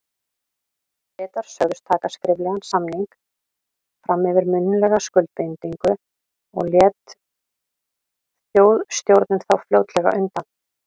Bretar sögðust taka skriflegan samning fram yfir munnlega skuldbindingu, og lét Þjóðstjórnin þá fljótlega undan.